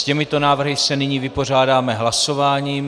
S těmito návrhy se nyní vypořádáme hlasováním.